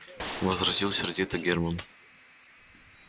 возразил сердито германн